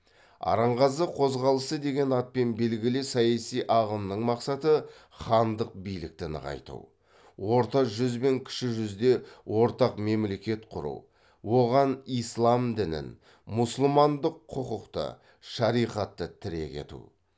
арынғазы қозғалысы деген атпен белгілі саяси ағымның мақсаты хандық билікті нығайту орта жүз бен кіші жүзде ортақ мемлекет құру оған ислам дінін мұсылмандық құқықты шариғатты тірек ету